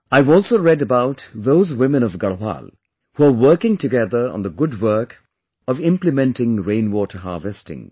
I have also read about those women of Garhwal, who are working together on the good work of implementing rainwater harvesting